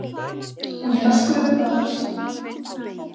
Hún er að skrökva að þér.